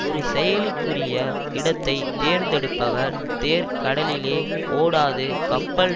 ஒரு செயலுக்குரிய இடத்தை தேர்ந்தெடுப்பவர் தேர் கடலிலே ஓடாது கப்பல்